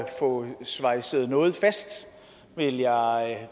få svejset noget fast vil jeg